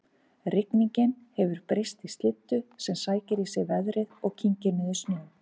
Rigningin hefur breyst í slyddu sem sækir í sig veðrið og kyngir niður snjó